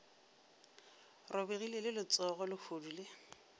robegile le letsogo lehodu le